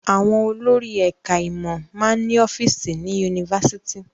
Àwọn olórí ẹ̀ka-ìmọ̀ máa ń ní ọ́fíísì ní yunifásitì.